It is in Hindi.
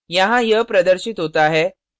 यहाँ यह प्रदर्शित होता है